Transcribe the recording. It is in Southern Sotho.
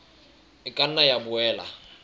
e ka nna ya boela